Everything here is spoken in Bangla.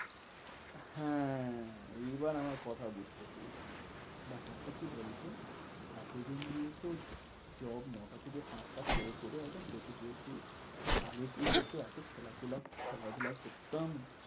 হ্যাঁ এইবার আমার কথা বুঝতে পেরেছিস। ব্যাপারটা কি বলতো? এতদিন যেহেতু job ন টা থেকে পাঁচ টা করে করে একদম পেকে গেছি। আগে কি হত? এত খেলাধুলা করতাম।